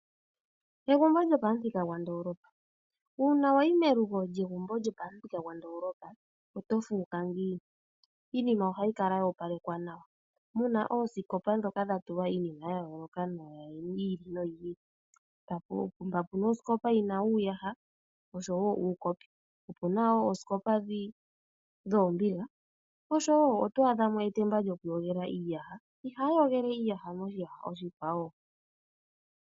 Egumbo lyopamuthika gwandoolopa, uuna wa yi melugo lyegumbo lyopamuthika gwandoolopa oto fuuka ngiini? Iinima ohayi kala yo opalekwa nawa, mu na oosikopa ndhoka dha tulwa iinima ya yooloka yi ili noyi ili, mpa puna osikopa yina uuyaha osho woo uukopi, mpa puna woo oosikopa dhoombiga osho woo oto adha mo woo etemba lyokuyogela iiyaha, ihaya yogele iiyaha moshiyaha oshikwawo.